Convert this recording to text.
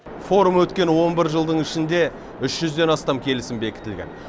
форум өткен он бір жылдың ішінде үш жүзден астам келісім бекітілген